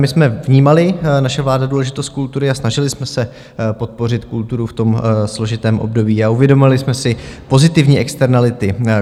My jsme vnímali, naše vláda, důležitost kultury a snažili jsme se podpořit kulturu v tom složitém období, a uvědomili jsme si pozitivní externality.